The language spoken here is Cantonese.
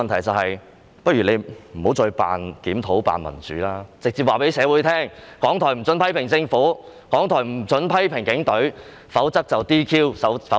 政府不如不要再扮檢討，扮民主，而是直接告訴社會，港台不可以批評政府，不可以批評警隊，否則會遭 "DQ"， 要關閉。